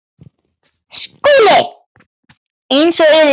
SKÚLI: Eins og yður sýnist.